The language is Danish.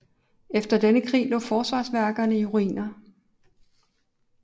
Efter denne krig lå forsvarsværkerne i ruiner